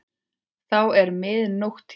Þá er mið nótt hér.